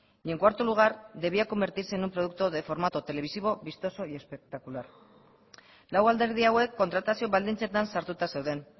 y en cuarto lugar debía convertirse en un producto de formato televisivo vistoso y espectacular lau alderdi hauek kontratazio baldintzetan sartuta zeuden